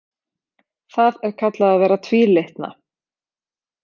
Það er kallað að vera tvílitna.